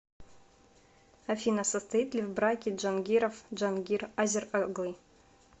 афина состоит ли в браке джангиров джангир азер оглы